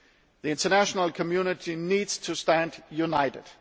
The international community needs to stand united.